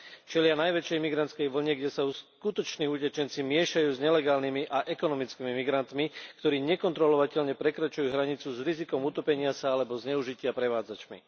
Čelia najväčšej imigrantskej vlne, kde sa skutoční utečenci miešajú s nelegálnymi a ekonomickými migrantmi, ktorí nekontrolovateľne prekračujú hranicu s rizikom utopenia sa alebo zneužitia prevádzačmi.